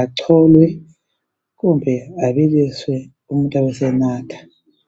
agcolwe kumbe abiliswe umuntu abe esenatha.